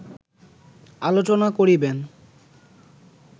আলোচনা করিবেন